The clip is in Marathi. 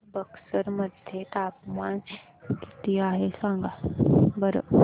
आज बक्सर मध्ये तापमान किती आहे सांगा बरं